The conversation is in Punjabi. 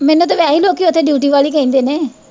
ਮੈਨੂੰ ਤਾਂ ਵੈਹੇ ਲੋਕੀਂ ਉੱਥੇ ਡਿਊਟੀ ਵਾਲੀ ਕਹਿੰਦੇ ਨੇ।